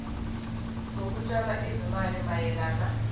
zokutshala izimali mayelana